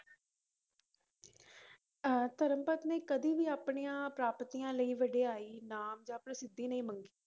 ਅਹ ਧਰਮਪਦ ਨੇ ਕਦੇ ਵੀ ਆਪਣੀਆਂ ਪ੍ਰਾਪਤੀਆਂ ਲਈ ਵਡਿਆਈ, ਨਾਮ ਜਾਂ ਪ੍ਰਸਿੱਧੀ ਨਹੀਂ ਮੰਗੀ।